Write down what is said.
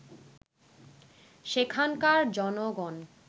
সেখানকার জনগণ